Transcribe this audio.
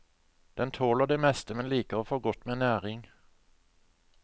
Den tåler det meste, men liker å få godt med næring.